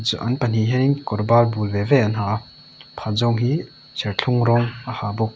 an pahnih hian in kawr ban bul ve ve an ha a pakhat zawk hi serthlum rawng a ha bawk.